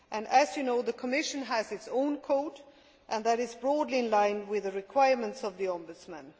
As you know, the Commission has its own code, and that is broadly in line with the requirements of the Ombudsman.